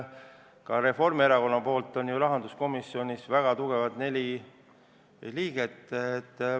Ka Reformierakonna poolt on rahanduskomisjonis neli väga tugevat liiget.